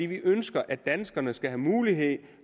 vi ønsker at danskerne skal have mulighed